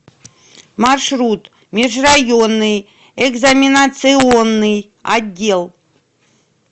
маршрут межрайонный экзаменационный отдел